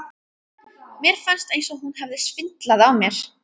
Mér fannst eins og hún hefði svindlað á mér.